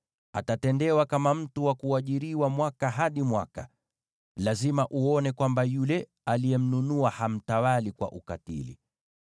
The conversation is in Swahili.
Atatendewa kama mtu wa kuajiriwa mwaka hadi mwaka; lazima uone kwamba yule aliyemnunua hamtawali kwa ukatili.